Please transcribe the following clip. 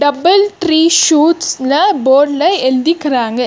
Double tree சூட்ஸ்னு போர்டுல எழுதிக்குறாங்க.